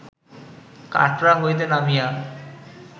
কাটরা হইতে নামিয়া